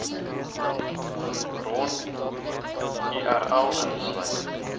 bron url ingesluit